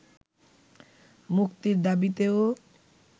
মুক্তির দাবিতেও